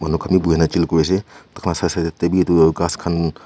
khan bi buhi na chill kure ase taikhan la side side te ghas khan--